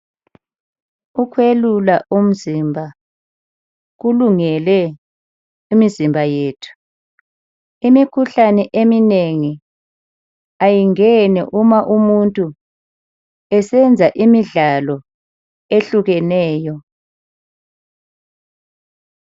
Ukwelula umzimba kulungele imizimba yethu. Imikhuhlane eminengi ayingeni uma umuntu esenza imidlalo ehlukeneyo.